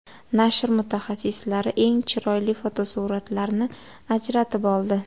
Nashr mutaxassislari eng chiroyli fotosuratlarni ajratib oldi.